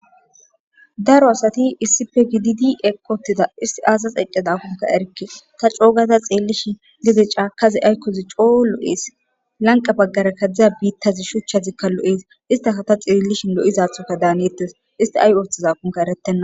Daro asati issife gididi eqotida isti aaza eccadakunka erke ta coogaza xeellishi gede caakazi aykkozi coo lo's lanqa baggara kadzdzaza biittazi shuchchazikka lo'es staka ta xeellishin lo'zathoka daaneettes isti ay ooththizakunka erettenna.